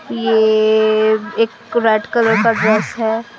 ये एक red colour का ड्रेस है।